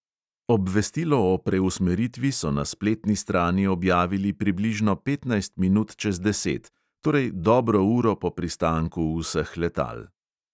Obvestilo o preusmeritvi so na spletni strani objavili približno petnajst minut čez deset, torej dobro uro po pristanku vseh letal.